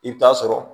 I bɛ taa sɔrɔ